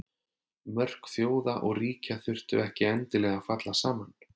Mörk þjóða og ríkja þurftu ekkert endilega að falla saman.